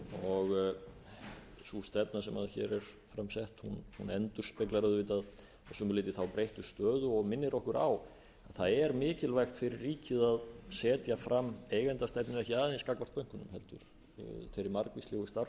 og sú stefna sem hér er fram sett endurspeglar auðvitað að sumu leyti þá breyttu stöðu og minnir okkur á að það er mikilvægt fyrir ríkið að setja fram eigendastefnu ekki aðeins gagnvart bönkunum heldur þeirri margvíslegu starfsemi